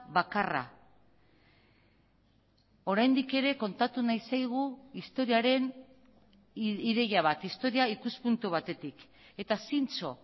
bakarra oraindik ere kontatu nahi zaigu historiaren ideia bat historia ikuspuntu batetik eta zintzo